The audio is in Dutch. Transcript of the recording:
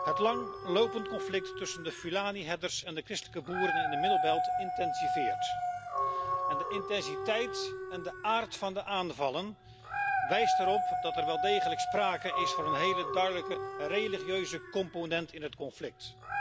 Het langlopendr conflict tussen de Fulani herders en de christelijke boeren in de intensiveert, en de intensiteit en de aard van de aanvallen wijzen erop dat er wel degelijk sprake is van een hele duidelijke religieuze component in het conflict.